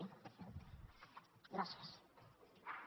gràcies